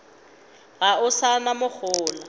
ga o sa na mohola